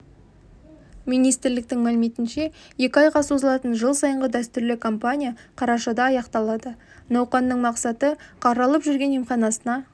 министрліктің мәліметінше екі айға созылатын жыл сайынғы дәстүрлі кампания қарашада аяқталады науқанның мақсаты қаралып жүрген емханасына